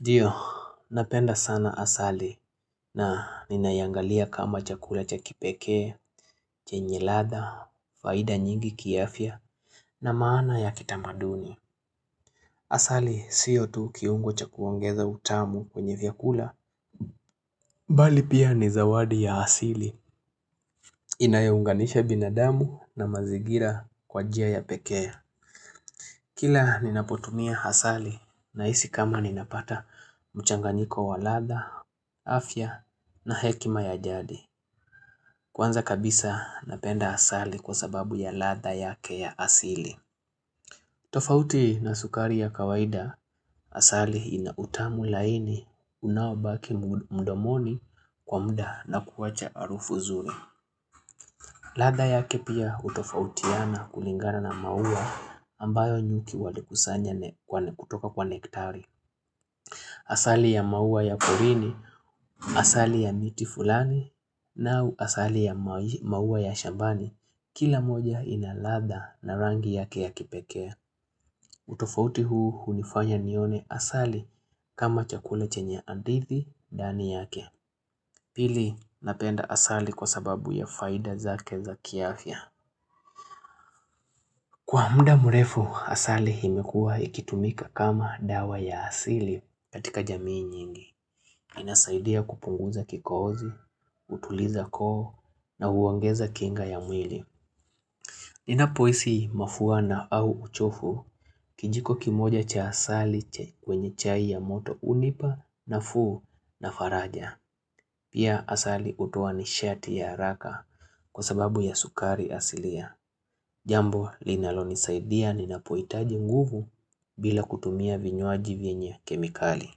Ndio, napenda sana asali na ninaiangalia kama chakula cha kipekee, chenye ladha, faida nyingi kiafya na maana ya kitamaduni. Asali, siyo tu kiungo cha kuongeza utamu kwenye vyakula. Bali pia ni zawadi ya asili. Inayounganisha binadamu na mazigira kwa njia ya pekee. Kila ninapotumia hasali na isi kama ninapata mchanganiko wa ladha, afya na hekima ya jadi. Kwanza kabisa napenda hasali kwa sababu ya ladha yake ya asili. Tofauti na sukari ya kawaida hasali inautamu laini unaobaki mdomoni kwa muda na kuwacha arufu zuri. Ladha yake pia utofautiana kulingana na maua ambayo nyuki wali kusanya kutoka kwa nektari. Asali ya maua ya kurini, asali ya miti fulani, na asali ya maua ya shambani, kila moja inaladha na rangi yake ya kipekee. Utofauti huu unifanya nione asali kama chakula chenye andithi dani yake. Pili napenda asali kwa sababu ya faida zake za kiafya. Kwa muda mrefu, asali himekua ikitumika kama dawa ya asili katika jamii nyingi. Inasaidia kupunguza kikoozi, utuliza koo na uongeza kinga ya mwili. Ninapoisi mafuwa na au uchofu kijiko kimoja cha asali kwenye chai ya moto unipa na fuu na faraja. Pia asali utoa ni shati ya haraka kwa sababu ya sukari asilia. Jambo linalonisaidia ninapoitaji nguvu bila kutumia vinywaji venywe kemikali.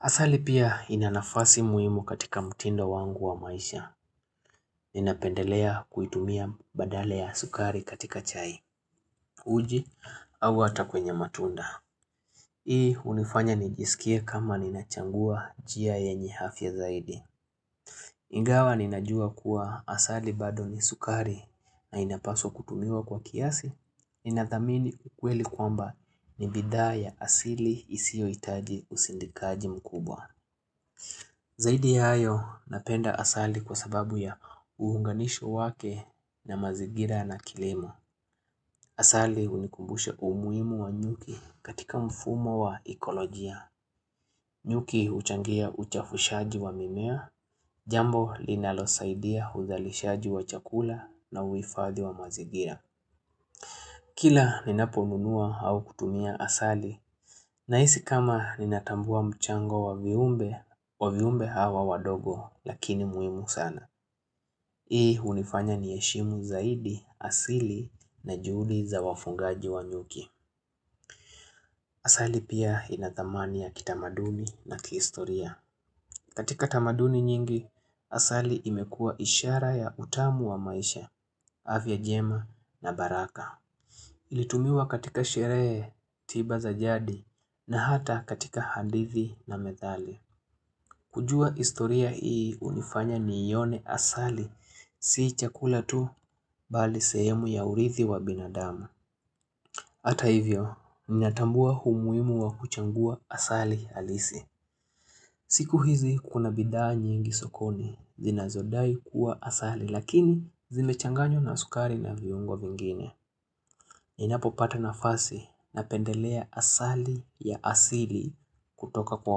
Asali pia inanafasi muimu katika mtindo wangu wa maisha. Ninapendelea kuitumia badala ya sukari katika chai, uji, au ata kwenye matunda. Hii unifanya nijisikie kama ninachangua jia yenye hafya zaidi. Ingawa ninajua kuwa asali bado ni sukari na inapaswa kutumiwa kwa kiasi. Ninathamini ukweli kwamba ni bidhaa ya asili isio itaji usindikaji mkubwa Zaidi ya hayo napenda asali kwa sababu ya uhunganisho wake na mazigira na kilemo Asali unikumbushe umuimu wa nyuki katika mfumo wa ekolojia nyuki uchangia uchafushaji wa mimea Jambo linalosaidia uzalishaji wa chakula na uifadhi wa mazigira Kila ninaponunua hau kutumia asali na isi kama ninatambua mchango wa viumbe wa viumbe hawa wadogo lakini muimu sana. Hii unifanya nieshimu zaidi, asili na juli za wafungaji wa nyuki. Asali pia inathamani ya kitamaduni na kihistoria. Katika tamaduni nyingi, asali imekua ishara ya utamu wa maisha, afya jema na baraka. Ilitumiwa katika sheree, tiba za jadi na hata katika hadithi na methali. Kujua istoria hii unifanya niione asali sii chakula tu bali sehemu ya urithi wa binadamu. Hata hivyo minatambua humuimu wa kuchangua asali halisi. Siku hizi kuna bidhaa nyingi sokoni zinazodai kuwa asali lakini zimechanganywa na sukari na viungo vingine. Ninapo pata nafasi napendelea asali ya asili kutoka kwa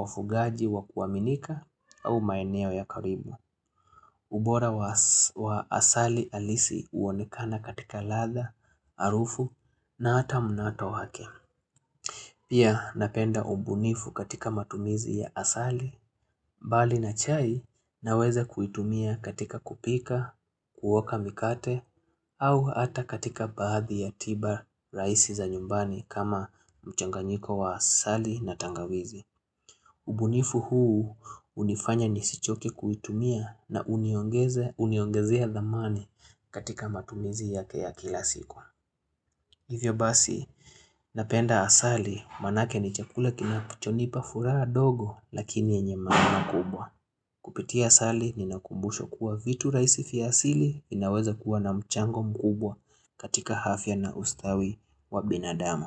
wafugaji wa kuwaminika au maeneo ya karibu. Ubora wa asali alisi uonekana katika ladha, arufu na ata munato wake. Pia napenda ubunifu katika matumizi ya asali, bali na chai naweza kuitumia katika kupika, kuoka mikate, au hata katika baadhi ya tiba raisi za nyumbani kama mchanganyiko wa asali na tangawizi. Ubunifu huu unifanya nisichoke kuitumia na uniongezea dhamani katika matumizi ya ke ya kila siku. Hivyo basi, napenda asali manake ni chakula kinacho nipa furaha dogo lakini yenye maana kubwa. Kupitia asali ni nakumbushWA kuwa vitu raisi fiasili inaweza kuwa na mchango mkubwa katika hafya na ustawi wa binadamu.